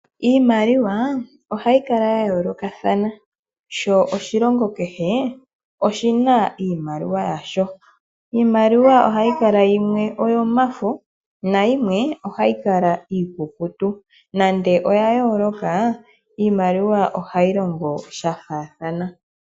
Iimaliwa ohayi kala yayoolokathana . Oshilongo kehe oshina iimaliwa yasho. Iimaliwa ohayi kala yimwe oyomafo nayimwe ohayi kala iikukutu. Nande oya yooloka, iimaliwa ohayi longo shafaathana.